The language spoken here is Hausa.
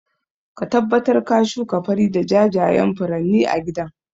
Ka tabbatar ka shuka fari da jajayan furanni a gidan